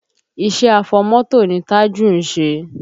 Iṣẹ́ afọmọ́tò ni Tájù ń ṣe